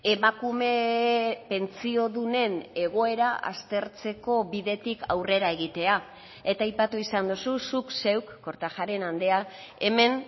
emakume pentsiodunen egoera aztertzeko bidetik aurrera egitea eta aipatu izan duzu zuk zeuk kortajarena andrea hemen